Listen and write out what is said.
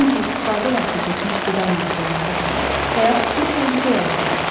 Çünki istifadə vaxtı keçmiş qida məhsulları da həyat üçün təhlükə yarada bilər.